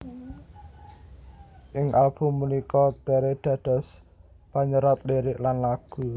Ing album punika Tere dados panyerat lirik lan lagu